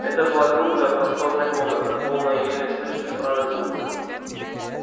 это была круглая просторная комната полная еле слышных странных звуков